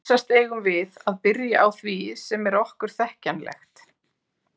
Vísast eigum við að byrja á því sem er okkur þekkjanlegt.